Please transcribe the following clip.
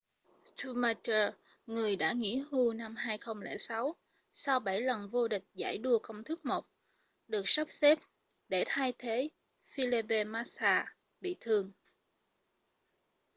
schumacher người đã nghỉ hưu năm 2006 sau bảy lần vô địch giải đua công thức 1 được sắp xếp để thay thế felipe massa bị thương